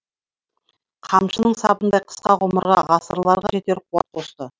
қамшының сабындай қысқа ғұмырға ғасырларға жетер қуат қосты